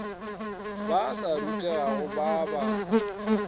ba sa rutegago ba ba